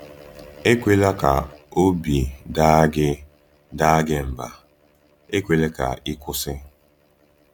Ekwela ka obi daa gị daa gị mba, ekwela ka ị kwụsị!